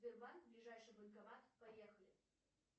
сбербанк ближайший банкомат поехали